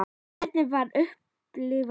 Hvernig var að upplifa það?